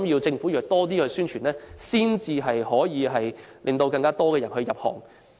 政府要多作宣傳，才能令更多人入行。